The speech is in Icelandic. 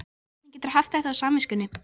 Hvernig geturðu haft þetta á samviskunni?